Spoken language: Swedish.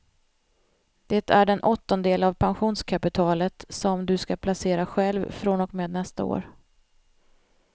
Det är den åttondel av pensionskapitalet som du ska placera själv från och med nästa år.